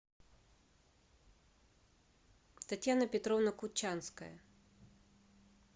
татьяна петровна кучанская